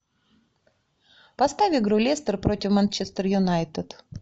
поставь игру лестер против манчестер юнайтед